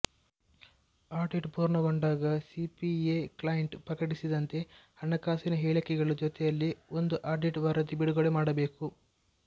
audit ಪೂರ್ಣಗೊಂಡಾಗ CPA client ಪ್ರಕಟಿಸಿದಂತೆ ಹಣಕಾಸಿನ ಹೇಳಿಕೆಗಳು ಜೊತೆಯಲ್ಲಿ ಒಂದು ಆಡಿಟ್ ವರದಿ ಬಿಡುಗಡೆ ಮಾಡಬೇಕು